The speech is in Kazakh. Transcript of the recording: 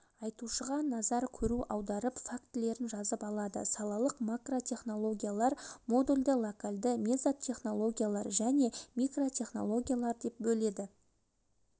айтушыға назар көру аударып фактілерін жазып алады салалық макротехнологиялар модульді-локальды мезатехнологиялар және микротехнологиялар деп бөледі